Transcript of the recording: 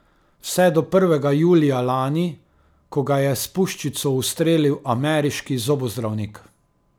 Vse do prvega julija lani, ko ga je s puščico ustrelil ameriški zobozdravnik.